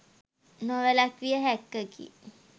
නොවැළක්විය හැක්කකි